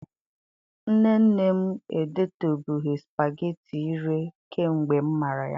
Nne nne m edetubeghị spageti ire kemgbe m mara ya.